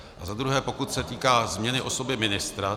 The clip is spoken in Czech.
A za druhé, pokud se týká změny osoby ministra.